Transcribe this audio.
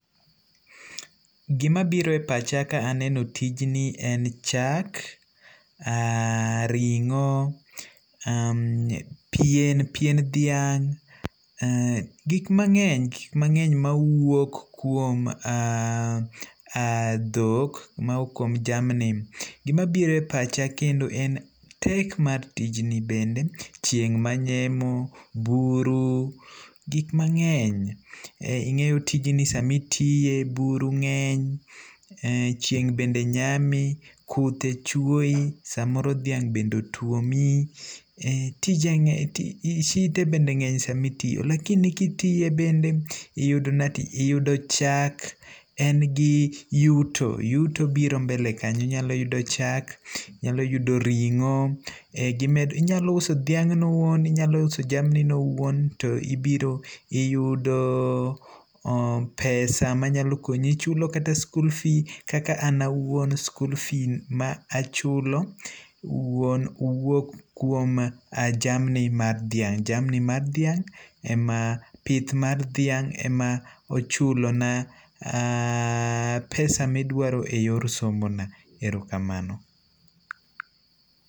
Gima biro e pacha ka aneno tijni en chak, ring'o, pien dhiang', gik mang'eny. Gik mang'eny mawuok kuom dhok mawuok kuom jamni. Gima biro e pacha kendo en tek mar tijni bende. Chieng' manyemo, buru, gik mang'eny. Ing'eyo tijni samitime buru ng'eny, chieng' bende nyami, kuthe chuoyi, samoro dhiang' bende otuomi, shite bende ng'eny samitiye. Lakini kitiye bende iyudo ni ati iyudo chak, en gi yuto, yuto biro mbele kanyo. Inyalo yudo chak, inyalo yudo ring'o. Inyalo uso dhiang'no owuon, inyalo uso jamnino owuon to ibiro iyudo pesa manyalo konyi chulo kata school fee kaka an awuon school fee machulo wuon wuok kuom jamni mar dhiang', pith mar dhiang' ema ochulona pesa midwaro e yor somona, erokamano.